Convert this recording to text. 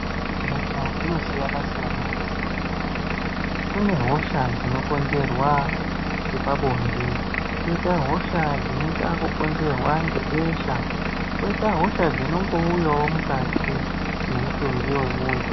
Hosha dzinosiyana siyana mukati mwendaramo kune hosha dzinokonzerwa ngepabonde koita hosha dzinokonzerwa besha koita hosha dzinongouyawo mukati memutumbi mwemundu.